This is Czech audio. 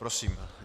Prosím.